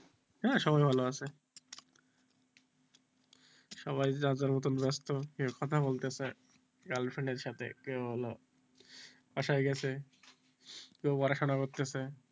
হ্যাঁ সবাই ভালো আছে সবাই যার যার মতন ব্যস্ত কেউ কথা বলতেছে girl friend এর সাথে কে হলো বাসায় গেছে, কেউ পড়াশোনা করতাছে,